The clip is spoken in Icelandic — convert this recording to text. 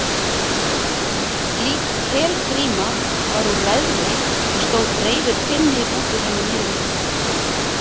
slík helgríma var úr leðri og stóð breiður pinni út úr henni miðri